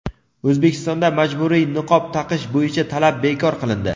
O‘zbekistonda majburiy niqob taqish bo‘yicha talab bekor qilindi.